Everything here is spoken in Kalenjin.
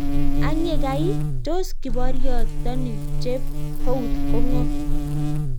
Ang yekai iih tos kiporiotoni chep Houth ko ng'o?